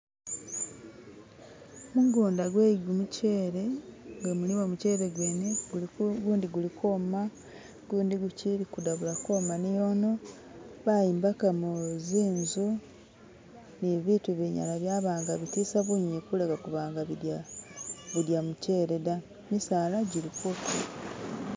Gumugunda gwe gumuchele nga gulimo nigumuchele gwene gundi gulikwoma gundi gushili kudabula ukwoma niyono. Bayombekamo zinzu nibintu ibinyala byatisa bunyunyi kuleka kulya gumuchele da. Gimisaala gili ku